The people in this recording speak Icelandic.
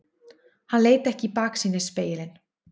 Hann leit ekki í baksýnisspegilinn.